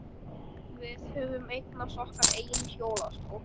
Við höfðum eignast okkar eigin hjólastól.